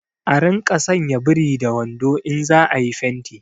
A rinƙa sanya birin da wando in za a yi fenti